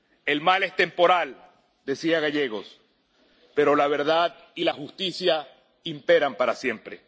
El mal es temporal —decía Gallegos—, pero la verdad y la justicia imperan siempre.